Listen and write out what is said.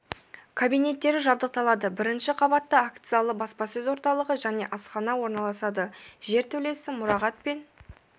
кабинеттері жабдықталады бірінші қабатта акт залы баспасөз орталығы және асхана орналасады жер төлесі мұрағат пен